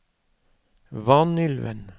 Vanylven